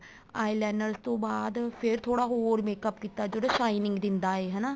eyeliner ਤੋਂ ਬਾਅਦ ਫ਼ੇਰ ਥੋੜਾ ਹੋਰ makeup ਕੀਤਾ ਜਿਹੜਾ shining ਦਿੰਦਾ ਏ ਹਨਾ